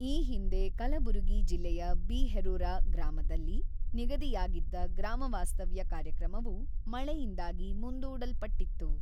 ಈ ಹಿಂದೆ ಕಲಬುರಗಿ ಜಿಲ್ಲೆಯ ಬಿ ಹೆರೂರ ಗ್ರಾಮದಲ್ಲಿ ನಿಗದಿಯಾಗಿದ್ದ ಗ್ರಾಮ ವಾಸ್ತವ್ಯ ಕಾರ್ಯಕ್ರಮವು ಮಳೆಯಿಂದಾಗಿ ಮುಂದೂಡಲ್ಪಟ್ಟಿತ್ತು.